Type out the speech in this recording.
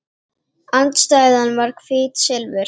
Andstæðan var hvítt silfur.